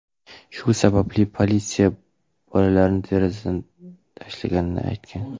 Shu sababli politsiya bolalarni derazadan tashlashni aytgan.